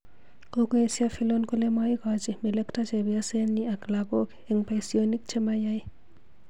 Kokoesyo Fillon kole maigachi melekto chebyosenyi ak lagook eng boisyonik che mayai